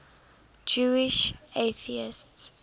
jewish atheists